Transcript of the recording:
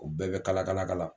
U bɛɛ bɛ kalakalakala.